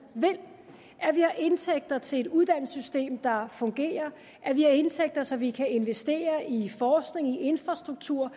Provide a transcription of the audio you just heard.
vil at vi har indtægter til et uddannelsessystem der fungerer at vi har indtægter så vi kan investere i forskning infrastruktur